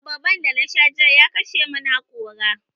Abarban da na sha jiya ya kashe mun hakora